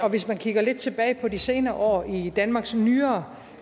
hvis vi kigger lidt tilbage på de senere år i danmarks nyere